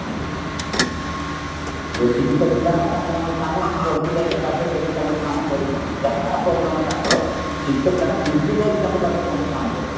ଯୋଉ ଶିକ୍ଷିତ ପିଲା ନା ତାଙ୍କ କାମ ଘରକୁ ଯାଇ ଯାଇ ବାଧ୍ୟ୍ୟ କରିକି ତାଙ୍କ ଘରେ କାମ କରିଦିଅନ୍ତି ଯାହା problem ତାଙ୍କର ଶିକ୍ଷିତ ପିଲାମାନେ ନିଜେ ଯାଇ ତାଙ୍କ ପାଖରେ ପହଁଚି କାମ କରନ୍ତି